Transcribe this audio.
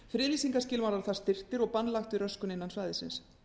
friðlýsingarskilmálar þar styrktir og bann lagt við röskun innan svæðisins